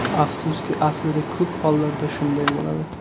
Afsuski, aslida ko‘p hollarda shunday bo‘ladi.